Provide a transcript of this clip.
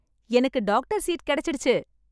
எனக்கு doctor seat கிடைச்சிடுச்சு